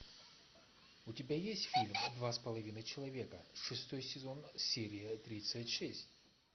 у тебя есть фильм два с половиной человека шестой сезон серия тридцать шесть